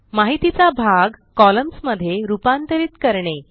माहितीचा भाग कॉलम्न्स मध्ये रूपांतरित करणे